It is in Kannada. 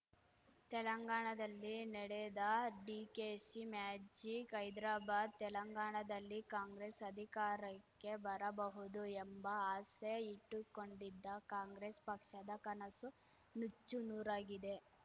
ತೆಲಂಗಾಣದಲ್ಲಿ ನಡೆಯದ ಡಿಕೆಶಿ ಮ್ಯಾಜಿಕ್‌ ಹೈದ್ರಾಬಾದ್‌ ತೆಲಂಗಾಣದಲ್ಲಿ ಕಾಂಗ್ರೆಸ್‌ ಅಧಿಕಾರಕ್ಕೆ ಬರಬಹುದು ಎಂಬ ಆಸೆ ಇಟ್ಟುಕೊಂಡಿದ್ದ ಕಾಂಗ್ರೆಸ್‌ ಪಕ್ಷದ ಕನಸು ನುಚ್ಚು ನೂರಾಗಿದೆ